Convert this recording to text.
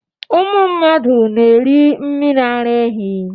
Ụmụ mmadụ na-eri mmiri ara ehi.